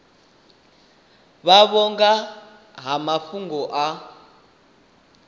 vhavho nga ha mafhungo a